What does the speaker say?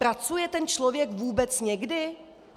Pracuje ten člověk vůbec někdy?